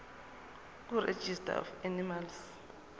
kuregistrar of animals